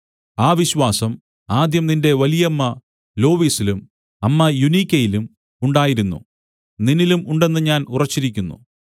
ആ വിശ്വാസം ആദ്യം നിന്റെ വലിയമ്മ ലോവീസിലും അമ്മ യുനീക്കയിലും ഉണ്ടായിരുന്നു നിന്നിലും ഉണ്ടെന്ന് ഞാൻ ഉറച്ചിരിക്കുന്നു